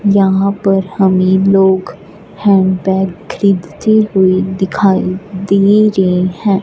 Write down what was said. यहां पर हमें लोग हैंड बैग खरीदते हुए दिखाई दे रहे हैं।